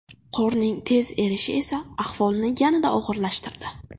Qorning tez erishi esa ahvolni yanada og‘irlashtirdi.